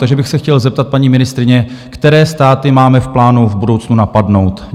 Takže bych se chtěl zeptat paní ministryně, které státy máme v plánu v budoucnu napadnout?